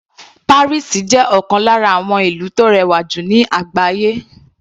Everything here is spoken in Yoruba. Paris jẹ́ ọ̀kan lára àwọn ìlú tó rẹwà jù ní àgbáyé.